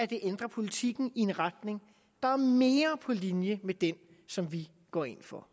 det ændrer politikken i en retning der er mere på linje med den som vi går ind for